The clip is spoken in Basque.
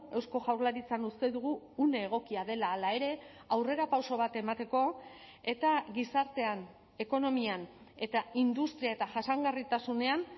eusko jaurlaritzan uste dugu une egokia dela hala ere aurrerapauso bat emateko eta gizartean ekonomian eta industria eta jasangarritasunean